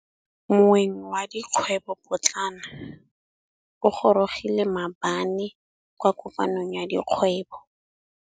Moêng wa dikgwêbô pôtlana o gorogile maabane kwa kopanong ya dikgwêbô.